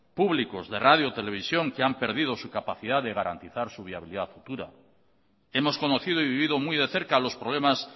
públicos de radio de televisión que han perdido su capacidad de garantizar su viabilidad futura hemos conocido y vivido muy de cerca los problemas